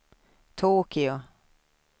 Tokyo